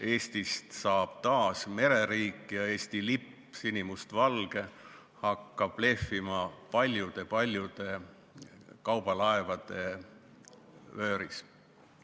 Eestist saab taas mereriik ja Eesti sinimustvalge lipp hakkab lehvima paljude kaubalaevade vööris.